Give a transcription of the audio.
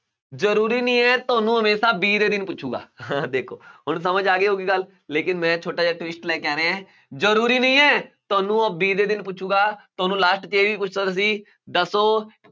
ਜ਼ਰੂਰੀ ਨੀ ਹੈ ਤੁਹਾਨੂੰ ਹਮੇਸ਼ਾ b ਦੇ ਦਿਨ ਪੁੱਛੇਗਾ ਦੇਖੋ ਹੁਣ ਸਮਝ ਆ ਗਈ ਹੋਊਗੀ ਗੱਲ, ਲੇਕਿੰਨ ਮੈਂ ਛੋਟਾ ਜਿਹਾ twist ਲੈ ਕੇ ਆ ਰਿਹਾਂ, ਜ਼ਰੂਰੀ ਨਹੀਂ ਹੈ ਤੁਹਾਨੂੰ ਉਹ b ਦੇ ਦਿਨ ਪੁੱਛੇਗਾ ਤੁਹਾਨੂੰ last 'ਚ ਇਹ ਵੀ ਦੱਸੋ